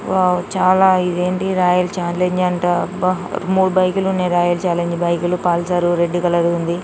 Wow చాలా ఇదేంటి royal challenge అంటా అబ్బా మూడు బైకులు ఉండేది రాయల్ చాలెంజ్ బైకులు పల్సర్ రెడ్ కలర్ ఉంది.